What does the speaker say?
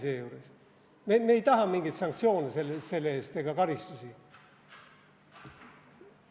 Me ei taha selle eest mingeid sanktsioone ega karistusi.